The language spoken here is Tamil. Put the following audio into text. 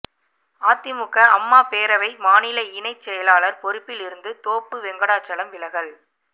அதிமுக அம்மா பேரவை மாநில இணை செயலாளர் பொறுப்பில் இருந்து தோப்பு வெங்கடாசலம் விலகல்